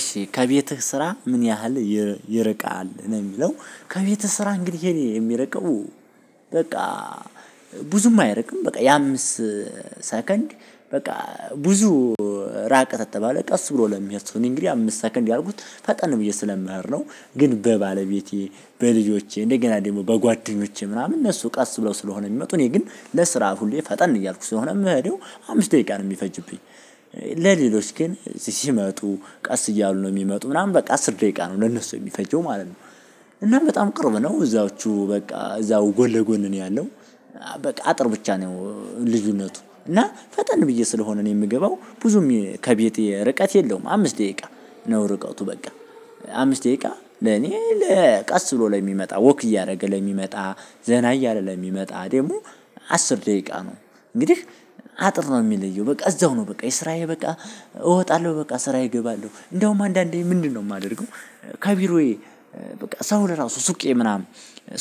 እሺ ከቤትህ ስራ ምን ያህል ይርቃል ነው የሚለው? ከቤትህ ስራ እንግዲህ የኔ የሚርቀው በቃ። ብዙም አይርቅም በቃ የአምስት ሰከንድ በቃ ብዙ ራቀ ከተባለ ቀስ ብሎ ለሚሄድ ሰው እኔ እንግዲህ አምስት ሰከንድ ያልኩት ፈጠን ነው ብዬ ስለምሄድ ነው። ግን በባለቤቴ በልጆቼ እንደገና ደግሞ በጓደኞቼ ምናምን እነሱ ቀስ ብለው ስለሆነ የሚመጡ እኔ ግን ለስራ ሁሌ ፈጠን እያልኩ ስለሆነ ምሄደው አምስት ደቂቃ ነው የሚፈጅብኝ። ለሌሎች ግን ሲመጡ ቀስ እያሉ ነው የሚመጡ ምናምን በቃ አስር ደቂቃ ነው ለነሱ የሚፈጀው ማለት ነው። እና በጣም ቅርብ ነው እዛቹ በቃ እዛው ጎን ለጎን ነው ያለው። በቃ አጥር ብቻ ነው ልዩነቱ እና ፈጠን ብዬ ስለሆነ ነው የምገባው ብዙም ከቤቴ ርቀት የለውም አምስት ደቂቃ። ነው ርቀቱ በቃ አምስት ደቂቃ ለኔ ለቀስ ብሎ ለሚመጣ ወክ እያደረገ ለሚመጣ ዘና እያለ ለሚመጣ ደግሞ። አስር ደቂቃ ነው እንግዲህ አጥር ነው የሚለየው በቃ እዛው ነው በቃ የስራዬ በቃ እወጣለሁ በቃ ስራዬ እገባለሁ እንደውም አንዳንዴ ምንድነው የማደርገው? ከቢሮዬ በቃ ሰው ለራሱ ሱቄ ምናምን።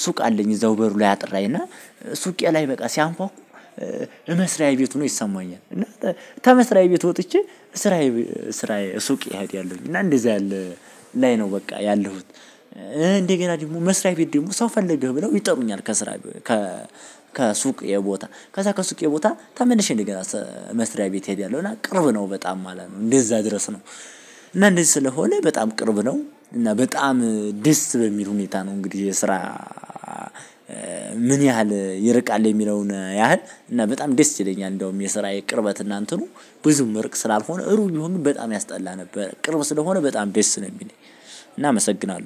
ሱቅ አለኝ እዛው በሩ ላይ አጥር ላይ እና ሱቄ ላይ በቃ ሲያንኳኩ። እመስራዬ ቤት ሆኖ ይሰማኛል እና ተመስሪያ ቤት ወጥቼ ስራዬ ስራዬ ሱቅ እሄዳለሁኝ እና እንደዚህ ያለ ላይ ነው በቃ ያለሁት። እንደገና ደግሞ መስሪያ ቤት ደግሞ ሰው ፈለገህ ብለው ይጠሩኛል ከስራ። ከሱቄ ቦታ ከዛ ከሱቄ ቦታ ተመልሼ እንደገና መስሪያ ቤት ሄዳለሁ እና ቅርብ ነው በጣም ማለት ነው እንደዛ ድረስ ነው። እና እንደዚህ ስለሆነ በጣም ቅርብ ነው እና በጣም ደስ በሚል ሁኔታ ነው የስራ። ምን ያህል ይርቃል የሚለውን ያህል እና በጣም ደስ ይለኛል እንደውም የስራዬ ቅርበት እና እንትኑ ብዙም እሩቅ ስላልሆነ እሩቅ ቢሆን በጣም ያስጠላ ነበረ ቅርብ ስለሆነ በጣም ደስ ነው ሚለኝ። እና አመሰግናለው